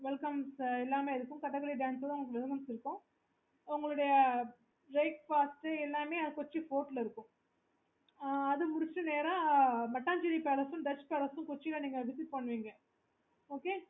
okay